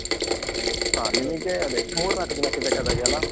ಹ. ನಿಮಿಗೆ ಅದೇ, ಮೂರ್ನಾಕು ದಿನಕ್ಕೆ ಬೇಕಾದಾಗೆ ಅಲ್ಲ?